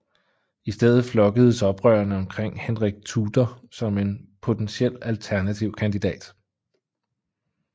I stedet flokkedes oprørerne omkring Henrik Tudor som en potentiel alternativ kandidat